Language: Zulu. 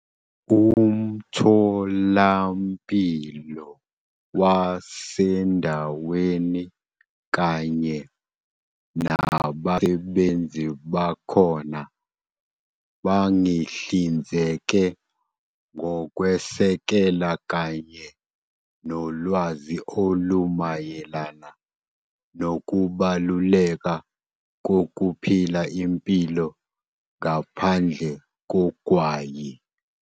"Umtholampilo wasendaweni kanye nabasebenzi bakhona bangihlinzeke ngokwesekela kanye nolwazi olumayelana nokubaluleka kokuphila impilo ngaphandle kogwayi."